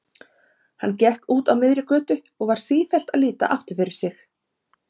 Hann gekk úti á miðri götu og var sífellt að líta aftur fyrir sig.